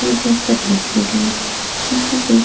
पूजा करने के लिये यहाँ पे --